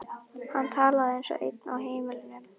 Hann talaði eins og einn á heimilinu.